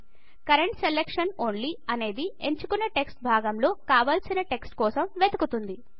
current selection only అనేది ఎంచుకున్న text భాగం లో కావాల్సిన టెక్స్ట్ కోసం వెతుకుతుంది